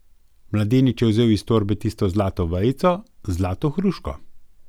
Mladenič je vzel iz torbe tisto zlato vejico z zlato hruško.